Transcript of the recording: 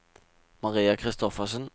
Maria Christoffersen